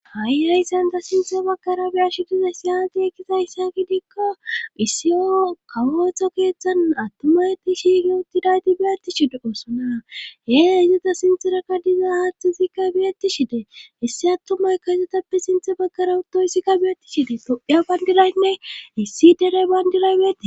ha7i rayssanta sinthe baggara biyash diza siyati ekkiza hissa gidikko issiyo kawotho keeththan attumayti shiige uttidayti biyatti shide oosona hee issita sinterakka diza haata sikka biyatti shide issi attumay kahysetappe sinthe baggara utto hyssikka beyetti shide toiya bayndilaynne issi derey bayndilay beete